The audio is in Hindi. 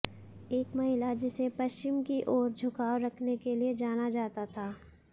एक महिला जिसे पश्चिम की ओर झुकाव रखने के लिए जाना जाता था